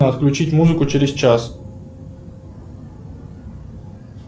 отключить музыку через час